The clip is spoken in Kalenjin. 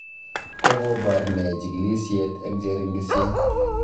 Kokobar ne kachigilishet eng cheringisyet?